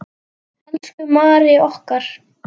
Elsku Mary okkar.